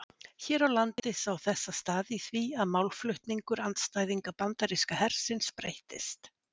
Hér á landi sá þessa stað í því að málflutningur andstæðinga bandaríska hersins breyttist.